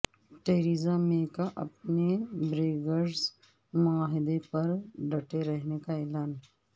Teresa May کا اپنے Brexit معاہدے پر ڈٹے رہنے کا اعلان